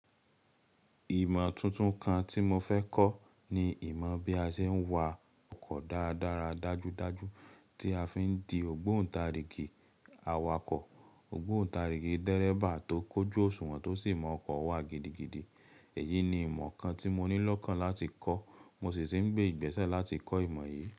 Ìmọ̀ tuntun kan tí mo fẹ́ kọ́ ni ìmọ̀ bí a ṣe ń wa ọkọ̀ dáradára dájúdájú tí a fi ń di ògbóǹtarigì awakọ̀, ògbóǹtarigì dẹ́rẹ̀ba tó kójú òṣùwọ̀n tó sì mọ ọkọ̀ wá gidigidi. Èyí ni ìmọ̀ kan tí mo ní lọ́kàn láti kọ́, mo sì ń gbé ìgbésẹ̀ láti kọ́ ìmọ̀ yìí.